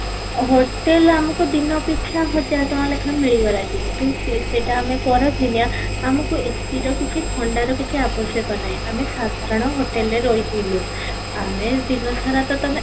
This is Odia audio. hotel ଆମକୁ ଦିନ ପିଛା ହଜାର ଟଙ୍କା ଲେଖା ମିଳିଗଲା କିନ୍ତୁ ସେ ସେଇଟା ଆମେ ଖରା ଦିନିଆ ଆମକୁ AC ର କିଛି ଥଣ୍ଡା ର କିଛି ଆବଶ୍ୟକ ନାହିଁ ଆମେ ସାଧାରଣ hotel ରେ ରହି ଥିଲୁ, ଆମେ ଦିନ ସାରା ତ ତମେ